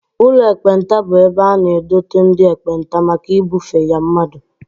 Ụlọ ekpenta bụ ebe a na-edote ndị ekpenta maka ibufe ya mmadụ